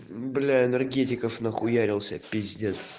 бля энергетиков нахуярился пиздец